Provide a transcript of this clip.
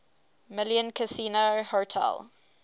million casino hotel